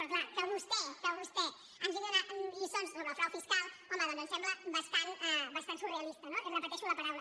però clar que vostè ens vingui a donar lliçons sobre el frau fiscal home doncs em sembla bastant surrealista no repeteixo la paraula